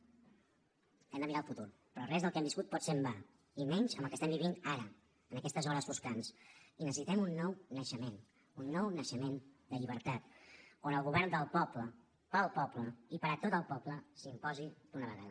hem de mirar al futur però res del que hem viscut pot ser en va i menys amb el que estem vivint ara en aquestes hores foscants i necessitem un nou naixement un nou naixement de llibertat on el govern del poble pel poble i per a tot el poble s’imposi d’una vegada